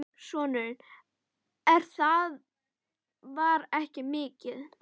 Sonurinn: En það var ekki mikið.